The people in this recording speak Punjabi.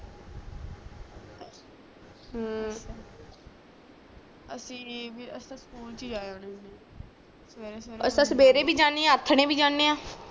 ਅਮ ਅਸੀ ਵੀ ਸਕੂਲ ਚ ਜਾ ਆਂਦੇ ਹੁੰਦੇ ਆ ਸਵੇਰੇ ਸਵੇਰੇ ਅਸੀਂ ਸਵੇਰੇ ਭੀ ਜਾਂਦੇ ਆ ਆਥਣੇ ਭੀ ਜਾਣੇ ਆ